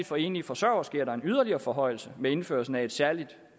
for enlige forsøgere sker der yderligere en forhøjelse med indførelsen af et særligt